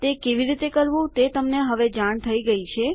તે કેવી રીતે કરવું તે તમને હવે જાણ થઇ ગઈ છે